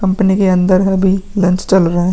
Company के अंदर अभी लंच चल रहा है ।